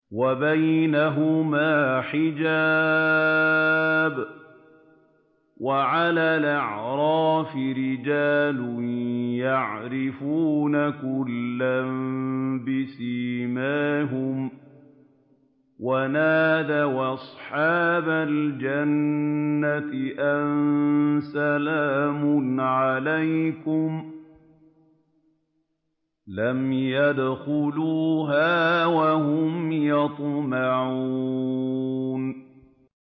وَبَيْنَهُمَا حِجَابٌ ۚ وَعَلَى الْأَعْرَافِ رِجَالٌ يَعْرِفُونَ كُلًّا بِسِيمَاهُمْ ۚ وَنَادَوْا أَصْحَابَ الْجَنَّةِ أَن سَلَامٌ عَلَيْكُمْ ۚ لَمْ يَدْخُلُوهَا وَهُمْ يَطْمَعُونَ